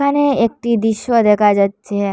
এখানে একটি দৃশ্য দেখা যাচ্ছে।